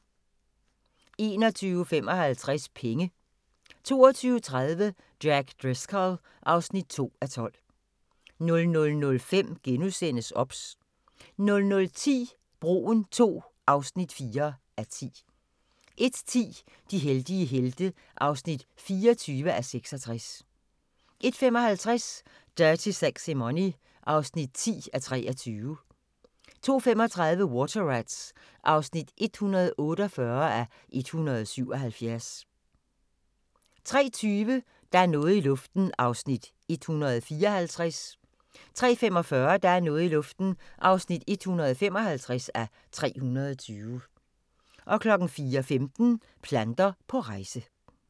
21:55: Penge 22:30: Jack Driscoll (2:12) 00:05: OBS * 00:10: Broen II (4:10) 01:10: De heldige helte (24:66) 01:55: Dirty Sexy Money (10:23) 02:35: Water Rats (148:177) 03:20: Der er noget i luften (154:320) 03:45: Der er noget i luften (155:320) 04:15: Planter på rejse